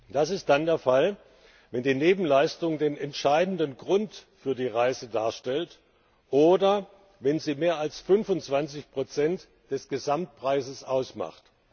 Das ist dann der Fall, wenn die Nebenleistung den entscheidenden Grund für die Reise darstellt, oder wenn sie mehr als 25nbsp des Gesamtpreises ausmacht.